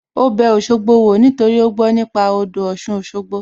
Ó bẹ Òṣogbo wò nítorí ó gbó nípa nípa odò Ọ̀sun Òṣogbo